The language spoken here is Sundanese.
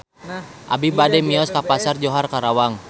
Abi bade mios ka Pasar Johar Karawang